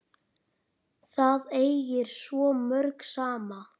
Það ægir svo mörgu saman.